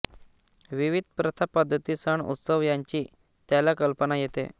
विविध प्रथा पद्धती सण उत्सव यांची त्याला कल्पना येते